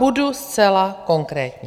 Budu zcela konkrétní.